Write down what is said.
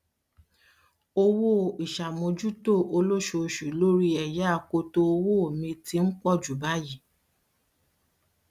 owó ìṣàmójútó olóṣooṣù lórí ẹyà akoto owó mi ti ń pọjù báyìí